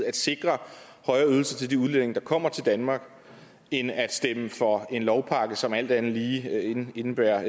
at sikre høje ydelser til de udlændinge der kommer til danmark end at stemme for en lovpakke som alt andet lige indebærer